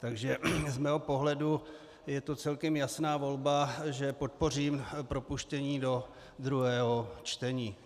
Takže z mého pohledu je to celkem jasná volba, že podpořím propuštění do druhého čtení.